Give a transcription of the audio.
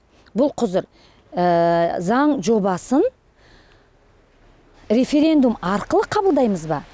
бұл құзыр заң жобасын референдум арқылы қабылдаймыз ба